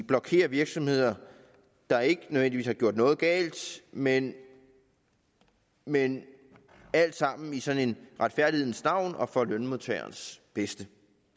blokere virksomheder der ikke nødvendigvis har gjort noget galt men men alt sammen i sådan en retfærdighedens navn og for lønmodtagerens bedste